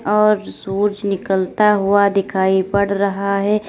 और सूज निकलता हुआ दिखाई पड़ रहा है।